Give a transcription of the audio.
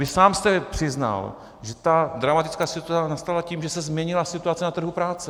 Vy sám jste přiznal, že ta dramatická situace nastala tím, že se změnila situace na trhu práce.